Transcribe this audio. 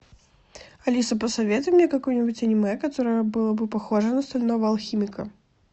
алиса посоветуй мне какое нибудь аниме которое было бы похоже на стального алхимика